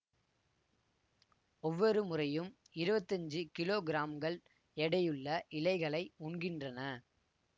ஒவ்வொரு முறையும் இருவத்தி அஞ்சு கிலோகிராம்கள் எடையுள்ள இலைகளை உண்கின்றன